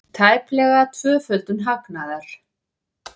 Tæplega tvöföldun hagnaðar